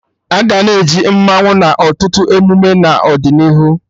Aga na-eji mmanwụ na ọtụtụ emume n'ọdịnihu